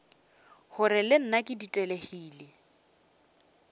gore le nna ke ditelegile